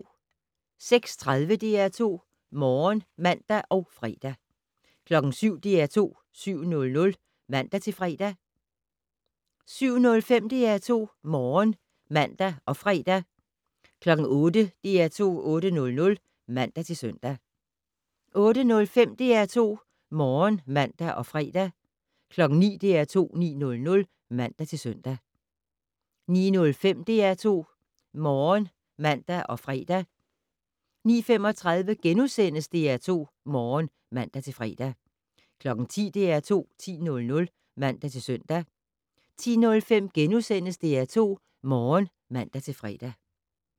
06:30: DR2 Morgen (man og fre) 07:00: DR2 7:00 (man-fre) 07:05: DR2 Morgen (man og fre) 08:00: DR2 8:00 (man-søn) 08:05: DR2 Morgen (man og fre) 09:00: DR2 9:00 (man-søn) 09:05: DR2 Morgen (man og fre) 09:35: DR2 Morgen *(man-fre) 10:00: DR2 10:00 (man-søn) 10:05: DR2 Morgen *(man-fre)